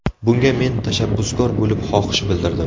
Bunga men tashabbuskor bo‘lib, xohish bildirdim.